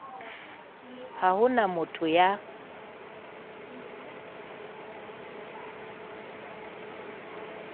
ha ho na motho ya